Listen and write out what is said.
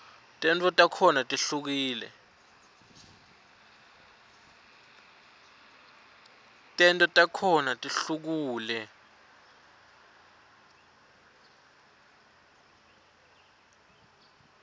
tento takhona tihlukule